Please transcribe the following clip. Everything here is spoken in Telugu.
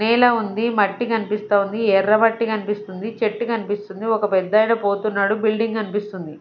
నేల ఉంది మట్టి కనిపిస్తావుంది ఎర్ర మట్టి కనిపిస్తుంది చెట్టు కనిపిస్తుంది ఒక పెద్దాయన పోతున్నాడు బిల్డింగ్ కనిపిస్తుంది.